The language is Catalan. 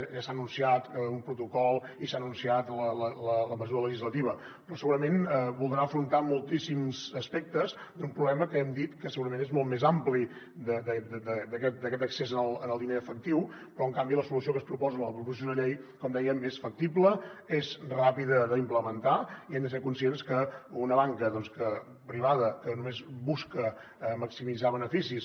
ja s’ha anunciat un protocol i s’ha anunciat la mesu·ra legislativa però segurament voldrà afrontar moltíssims aspectes d’un problema que hem dit que segurament és molt més ampli que aquest accés al diner en efec·tiu però en canvi la solució que es proposa en la proposició de llei com dèiem és factible és ràpida d’implementar i hem de ser conscients que una banca privada que només busca maximitzar beneficis